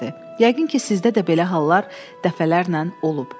Yəqin ki, sizdə də belə hallar dəfələrlə olub.